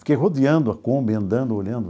Fiquei rodeando a Kombi, andando, olhando.